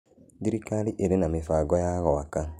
Thĩrĩkarĩ ĩrĩ na mĩbango ya gwaka.